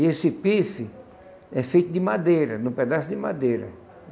E esse pife é feito de madeira, num pedaço de madeira.